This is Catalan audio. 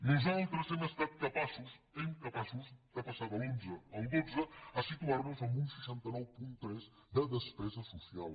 nosaltres hem estat capaços capaços de passar de l’onze al dotze a situar nos en un seixanta nou coma tres de despesa social